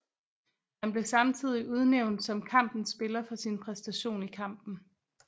Han blev samtidig udnævnt som kampens spiller for sin præstation i kampen